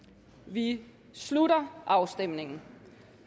vi slutter afstemningen